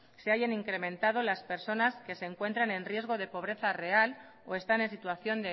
se hayan incrementado las personas que se encuentren en riesgo de pobreza real o están en situación